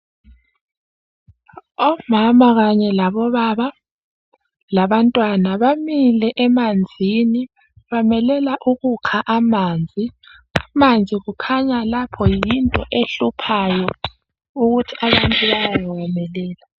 Omama kanye labobaba labantwana bamile emanzini bamelele ukukha amanzi. Amanzi kukhanya yinto ehluphayo okwenza abantu bayewamelela.